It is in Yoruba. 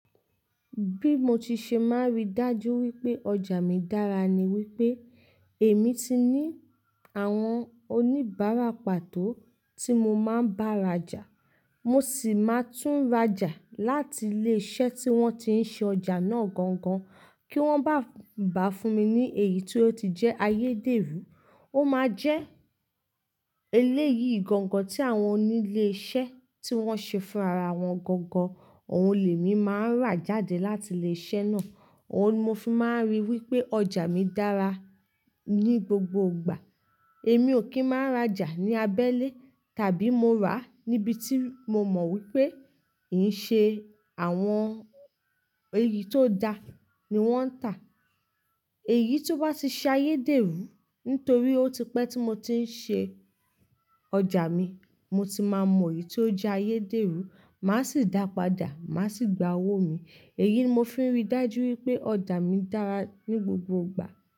Bí mo ti ṣe máa rí dájú wípé ọjà mi dára ni wípé èmi ti ní àwọn oníbàárà pàtó tí mo máa ń bá rajà. Mo sì máa tún rajà láti ilé-iṣẹ́ tí wọ́n ti ń ṣe ọjà náà gangan kí wọ́n bá bà fún mi ní èyí tó ti jẹ́ ayédèrú. Ó máa jẹ́ eléyìí gangan tí àwọn onílé-iṣẹ́ tí wọ́n ṣe fún ara wọn gangan. Ohun lè mi máa ń rà jáde láti ilé-iṣẹ́ náà. Ohun mo fi máa ń rí wípé ọjà mi dára ní gbogbo ìgbà. Èmi ò kí ń máa rajà ní abẹ́lé tàbí mo rà níbi tí mo mọ wípé kì ń ṣe àwọn èyí tó da ni wọ́n ń tà. Èyí tó bá ti ṣe ayédèrú nítorí ó ti pẹ́ tí mo ti ń ṣe ọjà mi, mo ti máa mọ èyí tó jẹ́ ayédèrú. Màá sì dápadà, màá sì gba owó mi. Èyí ni mo fi ń rí dájú wípé ọjà mi dára ní gbogbo ìgbà.